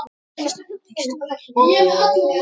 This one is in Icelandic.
Af hverju útvarp?